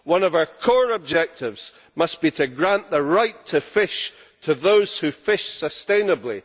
One of our core objectives must be to grant the right to fish to those who fish sustainably.